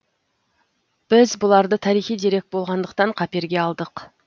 біз бұларды тарихи дерек болғандықтан қаперге алдық